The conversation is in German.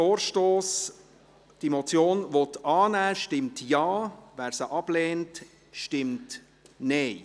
Wer diese Motion annehmen will, stimmt Ja, wer diese ablehnt, stimmt Nein.